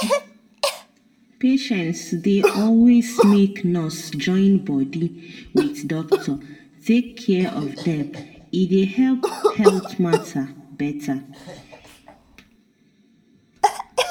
patients dey always make nurse join body wit doctor take care of dem e dey help health matter better.